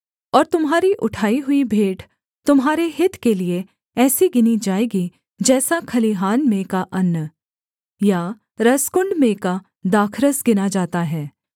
और तुम्हारी उठाई हुई भेंट तुम्हारे हित के लिये ऐसी गिनी जाएगी जैसा खलिहान में का अन्न या रसकुण्ड में का दाखरस गिना जाता है